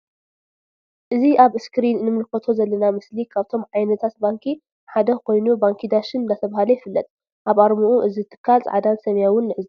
እዚ ኣብ እስክሪን እንምልከቶ ዘለና ምስሊ ካብቶም ዓይነታት ባንኪ ሓደ ኮይኑ ባንኪ ዳሽን እንዳተብሃለ ይፍለጥ። ኣብ ኣርምኡ እዚ ትካል ጻዕዳን ሰማያውን ንዕዘብ።